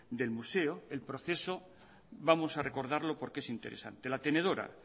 del museo el proceso vamos a recordarlo porque es interesante la tenedora